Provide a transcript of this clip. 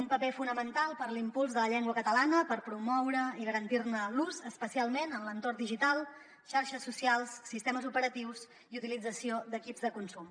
un paper fonamental per a l’impuls de la llengua catalana per promoure i garantir ne l’ús especialment en l’entorn digital xarxes socials sistemes operatius i utilització d’equips de consum